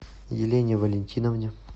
елене валентиновне